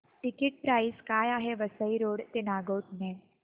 ticket price काय आहे Vasai road ते नागोठणे